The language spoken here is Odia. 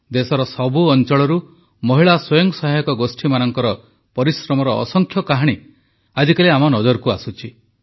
ଦେଶର ସବୁ ଅଂଚଳରୁ ମହିଳା ସ୍ୱୟଂ ସହାୟକ ଗୋଷ୍ଠୀମାନଙ୍କର ପରିଶ୍ରମର ଅସଂଖ୍ୟ କାହାଣୀ ମଧ୍ୟ ଆଜିକାଲି ଆମ ନଜରକୁ ଆସୁଛି